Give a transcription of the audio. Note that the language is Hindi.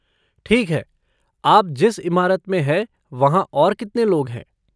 ठीक है, आप जिस इमारत में हैं वहाँ और कितने लोग हैं?